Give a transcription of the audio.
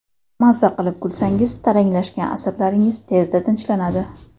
Maza qilib kulsangiz, taranglashgan asablaringiz tezda tinchlanadi.